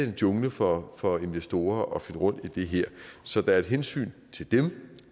en jungle for for investorer at finde rundt i det her så der er hensynet til dem